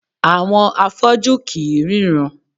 Àwọn afọ́jú kì í ríran